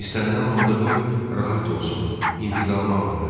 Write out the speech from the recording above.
İstənilən halda qoy rahat olsun, intiqamı alınır.